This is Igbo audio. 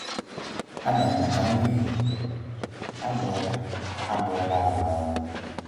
Adam maka mmehie gị, a bụọ la a bụọ la m ala ọnụ.